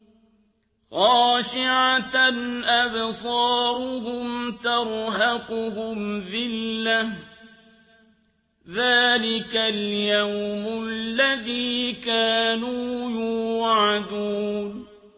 خَاشِعَةً أَبْصَارُهُمْ تَرْهَقُهُمْ ذِلَّةٌ ۚ ذَٰلِكَ الْيَوْمُ الَّذِي كَانُوا يُوعَدُونَ